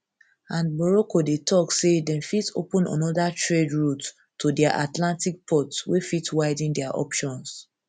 and morocco dey tok say dem fit open anoda trade route to dia atlantic ports wey fit widen dia options